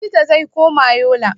Likita zai koma Yola.